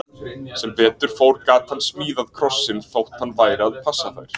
Sem betur fór gat hann smíðað krossinn, þótt hann væri að passa þær.